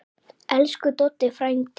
Elsku Doddi frændi.